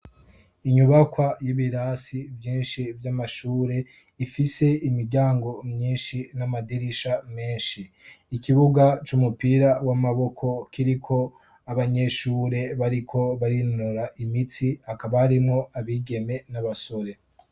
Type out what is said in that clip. Inyubakwa yibirasi Vyinshi Vyamashure ifise imiryango myinshi n'amadirisha menshi ikibuga c'umupira w'amaboko kiriko abanyeshure bariko barinonora imitsi hakaba harimwo abigeme n'abasore.